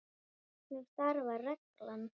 Hvernig starfar reglan?